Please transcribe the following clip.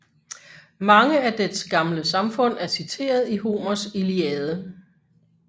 Mange af dets gamle samfund er citeret i Homers Iliade